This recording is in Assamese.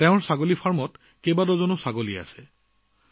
তেওঁলোকৰ ছাগলীৰ খেতিত প্ৰায় এক ডজনমান ছাগলী আছে